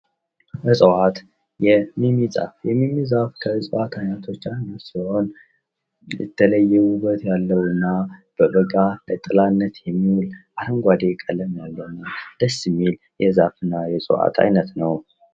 እፅዋት የሚሚ ዛፍ:- የሚሚ ዛፍ ከእፅዋት አይነቶች አንዱ ሲሆን የተለየ ዉበት ያለዉ እና በበጋ ለጥላነት የሚዉል አረንጓዴ ቀለም ያለዉ ደስ የሚል የዛፍ አይነት ነዉ።